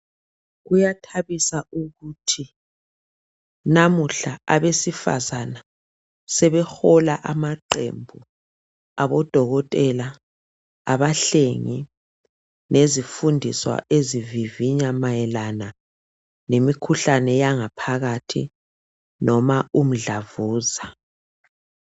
Kuyathabisa ukuthi namuhla abesifazana sebehola amaqembu abodokotela, abahlengi lezifundiswa ezivivinya mayelana lemikhuhlane yangaphakathi noma umdlavuza.